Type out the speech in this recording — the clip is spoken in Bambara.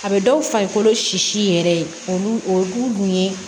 A bɛ dɔw farikolo si yɛrɛ olu dun ye